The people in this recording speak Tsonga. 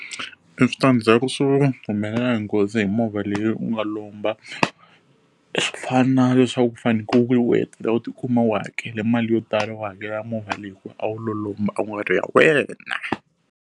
Eswitandzhaku swi humelela hi nghozi hi movha leyi u nga lomba, swi fana leswaku ku faneleke u tikuma u hakela mali yo tala wu hakela movha leyi ku a wu lo lomba a ku nga ri ya wena.